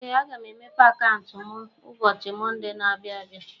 Ee! Aga m emepe akauntu mụ ụbọchị Monde na - abịa abịa.